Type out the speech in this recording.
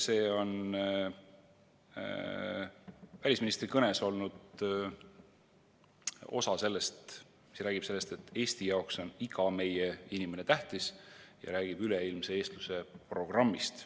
See on välisministri kõnes olnud osa, mis rääkis sellest, et Eesti jaoks on iga meie inimene tähtis, ja üleilmse eestluse programmist.